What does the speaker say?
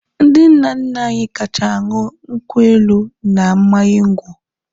Ndị nna nna anyị ha kacha ṅụọ nkwụ elu na mmanya ngwọ.